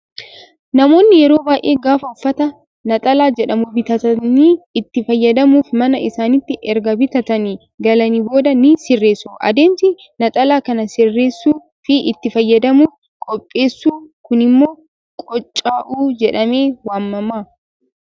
Namoonni yeroo baay'ee gaafa uffata naxalaa jedhamu bitatanii itti fayyadamuuf mana isaaniitti erga bitatanii galanii booddee ni sirreessu. Adeemsi naxalaa kana sirreessuu fi itti fayyadamuuf qopheessuu kunimmoo "qoocca'uu" jedhamee waamama.